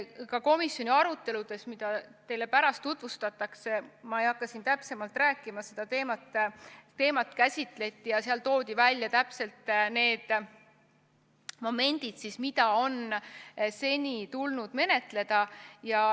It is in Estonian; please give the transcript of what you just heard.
Ka komisjoni aruteludes – mida teile pärast tutvustatakse, ma ei hakka siin täpsemalt rääkima – seda teemat käsitleti ja seal toodi välja täpselt need momendid, mida on seni tulnud menetleda.